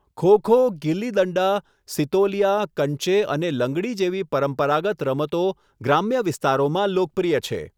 ખો ખો, ગિલ્લી દંડા, સિતોલિયા, કંચે અને લંગડી જેવી પરંપરાગત રમતો ગ્રામ્ય વિસ્તારોમાં લોકપ્રિય છે.